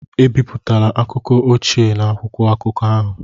Ebipụtala akụkọ ochie na akwụkwọ akụkọ ahụ!